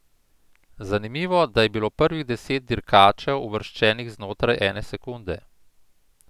Zanimivo, da je bilo prvih deset dirkačev uvrščenih znotraj ene sekunde.